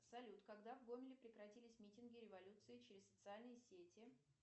салют когда в гомеле прекратились митинги революции через социальные сети